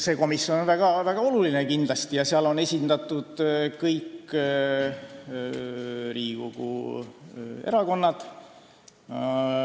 See komisjon on kindlasti väga oluline ja seal on esindatud kõik Riigikogu erakonnad.